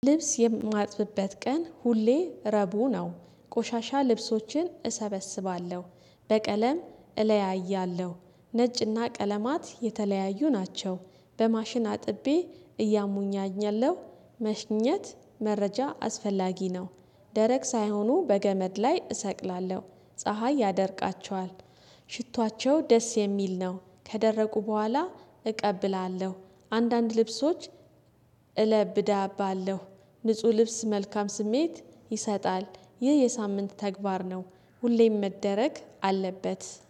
ልብስ የማጥብበት ቀን ሁሌ ረቡዕ ነው። ቆሻሻ ልብሶችን እሰበስባለሁ በቀለም እለያያለሁ ነጭና ቀለማት የተለያዩ ናቸው። በማሽን አጥቤ እያሙኛኛለሁ። መሽኘት መረጃ አስፈላጊ ነው። ደረቅ ሳይሆኑ በገመድ ላይ እሰቅላለሁ ፀሀይ ያደርቃቸዋል። ሽቷቸው ደስ የሚል ነው ከደረቁ በኋላ እቀብላለሁ። አንዳንድ ልብሶች እለብዳባለሁ። ንጹህ ልብስ መልካም ስሜት ይሰጣል። ይህ የሳምንት ተግባር ነው። ሁሌም መደረግ አለበት።